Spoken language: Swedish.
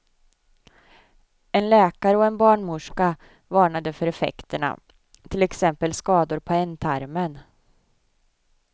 En läkare och en barnmorska varnade för effekterna, till exempel skador på ändtarmen.